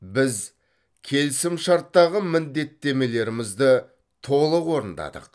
біз келісімшарттағы міндеттемелерімізді толық орындадық